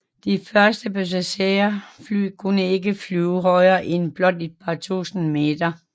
De første passagerfly kunne ikke flyve højere end blot et par tusind meter